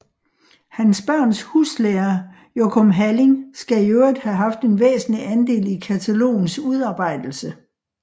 Hans børns huslærer Jochum Halling skal i øvrigt have haft en væsentlig andel i katalogens udarbejdelse